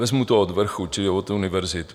Vezmu to od vrchu, čili od univerzit.